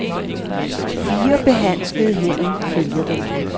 Fire behandskede hænder følger den.